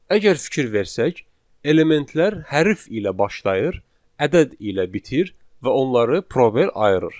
Əgər fikir versək, elementlər hərf ilə başlayır, ədəd ilə bitir və onları prober ayırır.